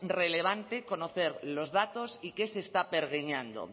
relevante conocer los datos y qué se está pergeñando